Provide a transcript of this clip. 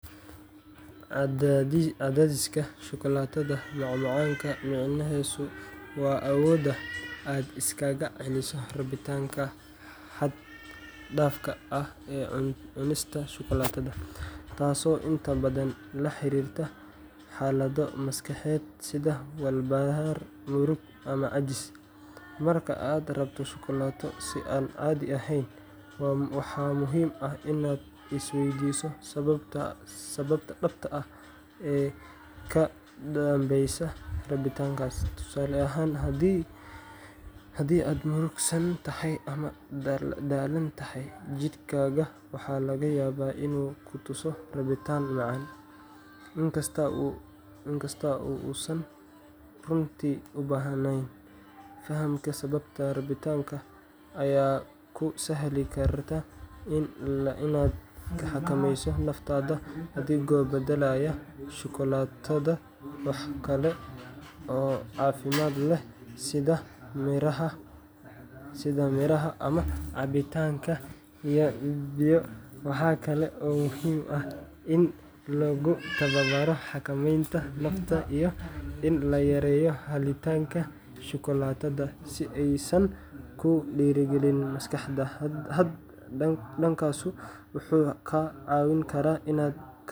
Cadhaysiga shukulaatada macmacaanka micnihiisu waa awoodda aad iskaga celiso rabitaanka xad-dhaafka ah ee cunista shukulaatada, taasoo inta badan la xiriirta xaalado maskaxeed sida walbahaar, murugo ama caajis. Marka aad rabto shukulaato si aan caadi ahayn, waxaa muhiim ah inaad isweydiiso sababta dhabtaa ee ka dambeysa rabitaankaas. Tusaale ahaan, haddii aad murugsan tahay ama daalan tahay, jidhkaaga waxa laga yaabaa inuu ku tuso rabitaan macaan, inkasta oo uusan runtii u baahnayn. Fahamka sababta rabitaanka ayaa kuu sahli karta inaad xakameyso naftaada, adigoo beddelaya shukulaatada wax kale oo caafimaad leh sida miraha ama cabbitaanka biyo. Waxaa kale oo muhiim ah in lagu tababaro xakamaynta nafta iyo in la yareeyo helitaanka shukulaatada si aysan kuu dhiirrigelin markasta. Hab-dhaqankaas wuxuu kaa caawin karaa.